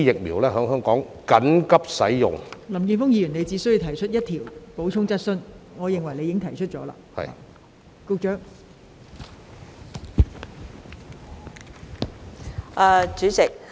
林健鋒議員，你只可提出一項補充質詢，而我認為你已提出你的補充質詢。